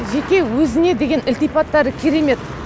жеке өзіне деген ілтипаттары керемет